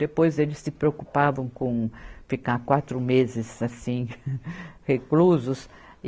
Depois eles se preocupavam com ficar quatro meses assim reclusos.